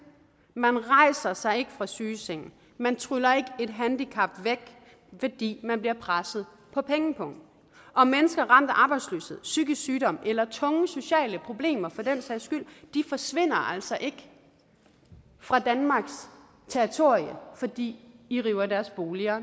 man rejser sig ikke fra sygesengen man tryller ikke et handicap væk fordi man bliver presset på pengepungen og mennesker ramt af arbejdsløshed psykisk sygdom eller tunge sociale problemer for den sags skyld forsvinder altså ikke fra danmarks territorium fordi i river deres boliger